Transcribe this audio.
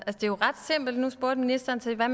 jo ret simpelt altså nu spurgte ministeren til hvad